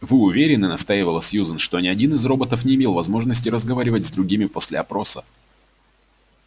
вы уверены настаивала сьюзен что ни один из роботов не имел возможности разговаривать с другими после опроса